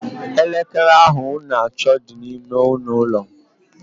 Elekere ahụ unu na-achọ dị n'ime ọnụụlọ m